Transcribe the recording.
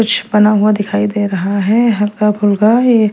कुछ बना हुआ दिखाई दे रहा है हल्का फुल्का ये --